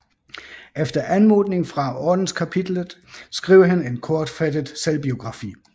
Efter anmodning fra Ordenskapitlet skrev han en kortfattet selvbiografi